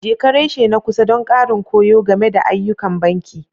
Jeka reshe na kusa don ƙarin koyo game da ayyukan banki.